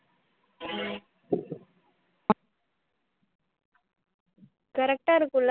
correct ஆ இருக்கும் இல்ல